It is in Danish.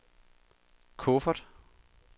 kuffert